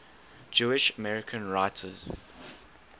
jewish american writers